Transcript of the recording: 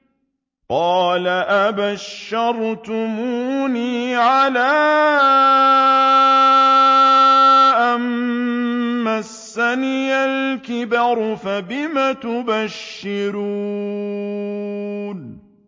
قَالَ أَبَشَّرْتُمُونِي عَلَىٰ أَن مَّسَّنِيَ الْكِبَرُ فَبِمَ تُبَشِّرُونَ